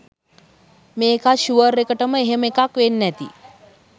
මේකත් ෂුවර් එකටම එහෙම එකක් වෙන්ඩ ඇති